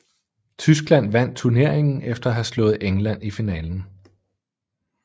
Tyskland vandt turneringen efter at have slået England i finalen